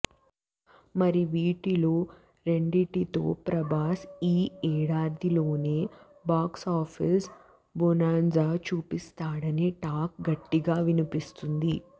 మరి వీటిలో రెండింటితో ప్రభాస్ ఈ ఏడాదిలోనే బాక్సాఫీస్ బొనాంజా చూపిస్తాడని టాక్ గట్టిగా వినిపిస్తుంది